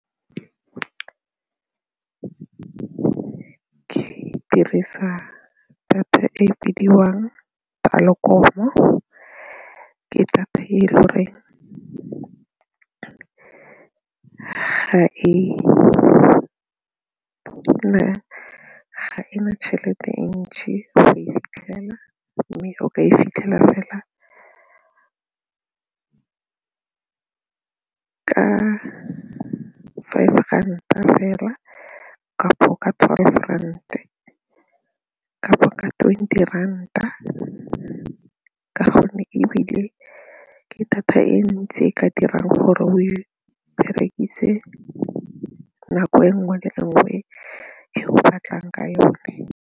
Ke dirisa data e e bidiwang Telkom-o, ke data e le gore ga e na tšhelete ntšhi go e fitlhela mme o ka e fitlhela fela ka ya five ranta fela kapo ka twelve ranta kapo ka twenty ranta ka gonne ebile ke data e ntsi e ka dirang gore o e berekise nako e nngwe le nngwe e o batlang ka yone.